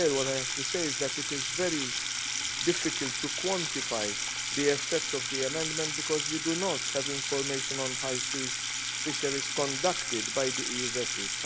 I have to say that it is very difficult to quantify the effect of the amendment, because we do not have information on high seas fisheries conducted by the EU vessels.